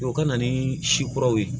O ka na ni si kuraw ye